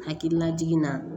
Hakilina jiginna